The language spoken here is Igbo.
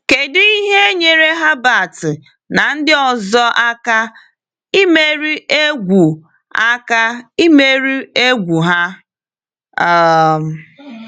Kedu ihe nyere Herbert na ndị ọzọ aka imeri egwu aka imeri egwu ha? um